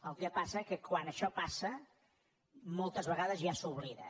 el que passa és que quan això passa moltes vegades ja s’oblida